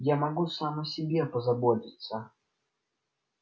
я могу сам о себе позаботиться